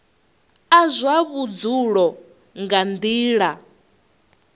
a zwa vhudzulo nga nila